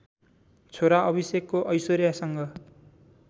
छोरा अभिषेकको ऐश्वर्यासँग